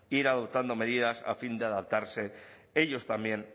ir adoptando medidas a fin de adaptarse ellos también